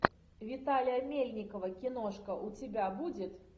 виталия мельникова киношка у тебя будет